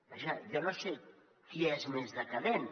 vaja jo no sé qui és més decadent